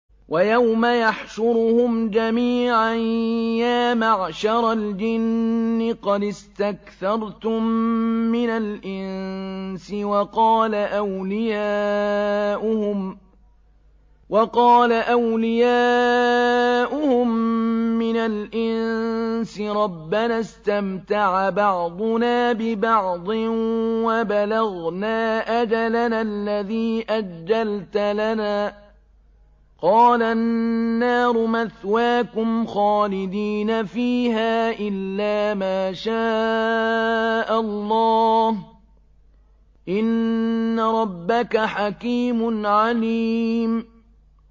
وَيَوْمَ يَحْشُرُهُمْ جَمِيعًا يَا مَعْشَرَ الْجِنِّ قَدِ اسْتَكْثَرْتُم مِّنَ الْإِنسِ ۖ وَقَالَ أَوْلِيَاؤُهُم مِّنَ الْإِنسِ رَبَّنَا اسْتَمْتَعَ بَعْضُنَا بِبَعْضٍ وَبَلَغْنَا أَجَلَنَا الَّذِي أَجَّلْتَ لَنَا ۚ قَالَ النَّارُ مَثْوَاكُمْ خَالِدِينَ فِيهَا إِلَّا مَا شَاءَ اللَّهُ ۗ إِنَّ رَبَّكَ حَكِيمٌ عَلِيمٌ